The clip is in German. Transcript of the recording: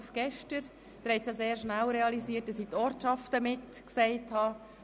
Sie haben sehr schnell realisiert, dass ich die Ortschaften mitgenannt habe.